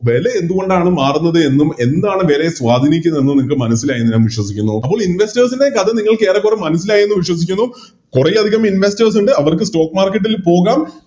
വില എന്തുകൊണ്ടാണ് മാറുന്നതെന്നും എന്താണ് വേലയെ സ്വാതീനിക്കുന്നതെന്നും നിങ്ങക്ക് മനസ്സിലായി എന്ന് ഞാൻ വിശ്വസിക്കുന്നു അപ്പോൾ Investors ൻറെ കഥ നിങ്ങൾക്ക് ഏറെക്കുറെ മനസ്സിലായെന്ന് വിശ്വസിക്കുന്നു കൊറേയധികം Investors ഉണ്ട് അവർക്ക് Stock market ൽ പോകാം